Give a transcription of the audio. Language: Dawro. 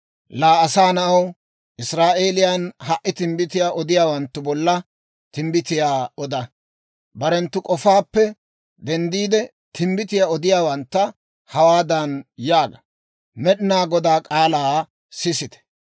«Laa asaa na'aw, Israa'eeliyaan ha"i timbbitiyaa odiyaawanttu bolla timbbitiyaa oda. Barenttu k'ofaappe denddiide, timbbitiyaa odiyaawantta hawaadan yaaga; ‹Med'inaa Godaa k'aalaa sisite!